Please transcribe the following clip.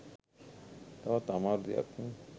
තවත් අමාරු දෙයක්.